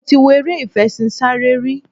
Mo ti wọ eré ìfeṣinsárẹ́ rí.